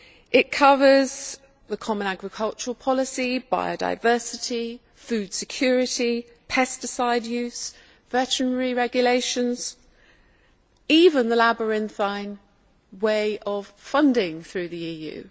It covers the common agricultural policy, biodiversity, food security, pesticide use, veterinary regulations, and even the labyrinthine way of funding through the EU.